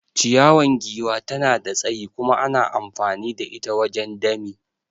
Ciyawan giwa tana da tsayi kuma ana amfani da ita wajen dami.